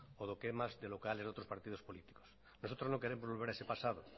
o lo que es más de quemas de locales de otros partidos políticos nosotros no queremos volver a ese pasado